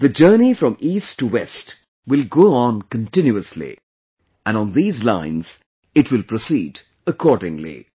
The journey from east to west will go on continuously...and on these lines, it will proceed accordingly